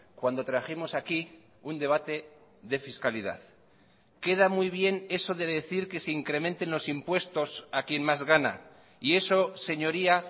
cuando trajimos aquí un debate de fiscalidad queda muy bien eso de decir que se incrementen los impuestos a quien más gana y eso señoría